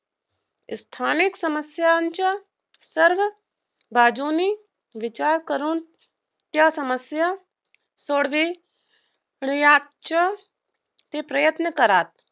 स्थानिक समस्यांच्या सर्व बाजूनी विचार करून त्या समस्या सोडवायचे ते प्रयत्न करतात.